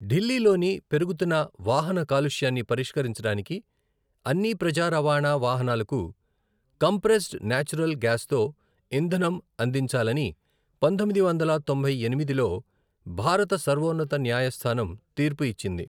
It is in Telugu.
ఢిల్లీలోని పెరుగుతున్న వాహన కాలుష్యాన్ని పరిష్కరించడానికి అన్ని ప్రజా రవాణా వాహనాలకు కంప్రెస్డ్ నేచురల్ గ్యాస్తో ఇంధనం అందించాలని పంతొమ్మిది వందల తొంభై ఎనిమిదిలో భారత సర్వోన్నత న్యాయస్థానం తీర్పు ఇచ్చింది.